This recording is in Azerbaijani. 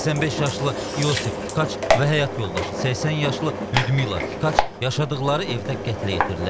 85 yaşlı Yusif Tkaç və həyat yoldaşı 80 yaşlı Lyudmila Tkaç yaşadıqları evdə qətlə yetirilib.